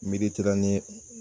Mediterane ye